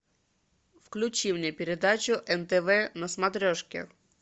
включи мне передачу нтв на смотрешке